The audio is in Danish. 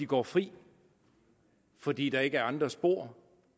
går fri fordi der ikke er andre spor og